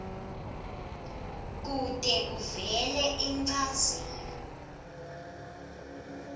kute kuvele inchazelo